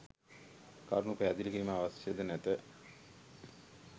කරුණු පැහැදිලි කිරීම අවශ්‍ය ද නැත.